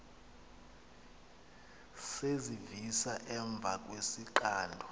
zezivisa emva kwesixando